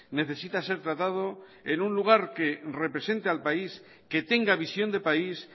necesita ser tratado en un lugar que represente al país que tenga visión de país